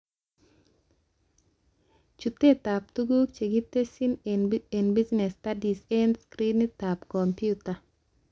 Chutetab tuguk chekitesyi eng Business studies eng screenitab komputa